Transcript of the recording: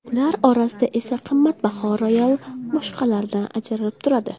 Ular orasida esa qimmatbaho royal boshqalaridan ajralib turadi.